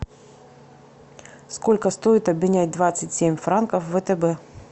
сколько стоит обменять двадцать семь франков в втб